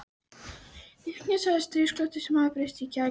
Lífseigast var stríðnisglottið sem hafði breyst í kæk með árunum.